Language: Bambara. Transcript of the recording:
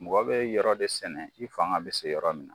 Mɔgɔ bɛ yɔrɔ de sɛnɛ i fanga bɛ se yɔrɔ min na.